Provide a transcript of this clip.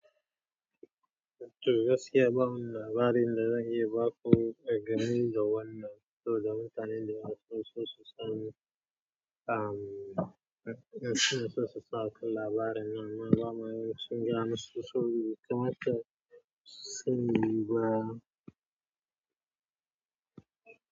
To gaskiya ba mu da labari da zan iya ba ko dangani, da wannan saboda mutane to zamu tanadi wasu sososai, ah mm, suna sosa akalla bara nan. Man wa mana sun gane sosai, kamar ta sanyi ba.